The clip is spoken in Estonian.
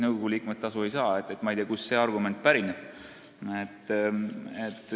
Nõukogu liikmed tasu ei saa ja ma ei tea, kust see argument pärineb.